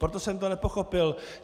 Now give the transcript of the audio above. Proto jsem to nepochopil.